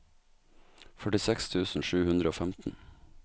førtiseks tusen sju hundre og femten